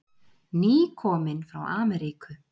Nýkominn frá Ameríku.